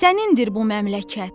Sənindir bu məmləkət.